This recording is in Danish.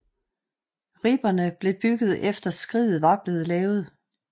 Ribberne blev bygget efter skriget var blevet lavet